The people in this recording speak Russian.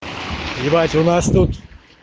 ебать у нас тут